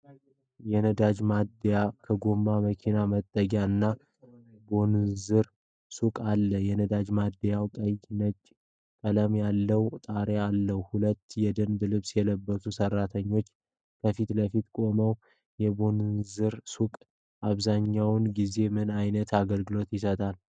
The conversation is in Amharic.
የነዳጅ ማደያ ከጎኑ መኪና መጠገኛ እና ቦንዡር ሱቅ አለው። የነዳጅ ማደያው ቀይና ነጭ ቀለም ያለው ጣሪያ አለው። ሁለት የደንብ ልብስ የለበሱ ሠራተኞች ከፊት ለፊት ቆመዋል። የቦንዡር ሱቅ አብዛኛውን ጊዜ ምን ዓይነት አገልግሎት ይሰጣል?